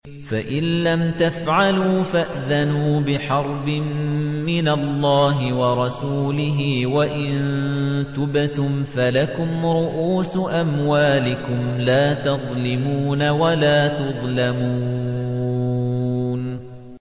فَإِن لَّمْ تَفْعَلُوا فَأْذَنُوا بِحَرْبٍ مِّنَ اللَّهِ وَرَسُولِهِ ۖ وَإِن تُبْتُمْ فَلَكُمْ رُءُوسُ أَمْوَالِكُمْ لَا تَظْلِمُونَ وَلَا تُظْلَمُونَ